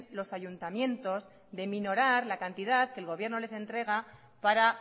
los ayuntamientos de minorar la cantidad que el gobierno les entrega para